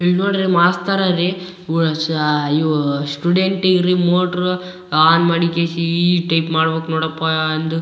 ಇಲ್ ನೋಡ್ರಿ ಮಾಸ್ಕ ತರ ರೀ. ಬಹುಶ ಇವು ಸ್ಟುಡೆಂಟಿಗ್ ರೀ ಮೋಟ್ರು ಆನ್ ಮಾಡಿಕೆಶಿ ಈ ಟೈಪ್ ಮಾಡಬೇಕ ನೋಡಪಾ ಅಂದು.